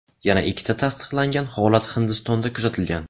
Yana ikkita tasdiqlangan holat Hindistonda kuzatilgan.